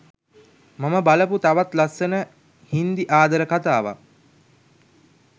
මම බලපු තවත් ලස්සන හිංදි ආදර කතාවක්